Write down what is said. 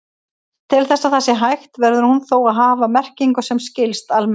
Til þess að það sé hægt verður hún þó að hafa merkingu sem skilst almennt.